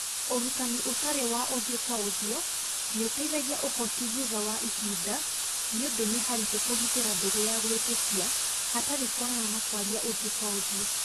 Ũrutani ũtari wa ũthio kwa ũthio ni ũteaga ũhoti thutha wa ihinda nĩ ũndũ nĩ haritũ kũgitĩra ndũgũ ya gwĩtĩkia hatarĩ kuonana na kwaria ũthio kwa ũthio.